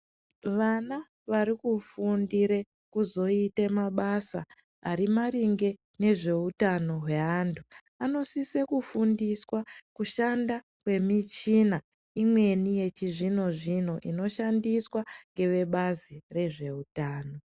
Vana vari kufundire kuzoite mabasa ari maringe nezveutano hweantu ano sise kufundiswa kushanda kwemichina imweni yechi zvino zvino inoshandiswa ngeve bazi rezve utano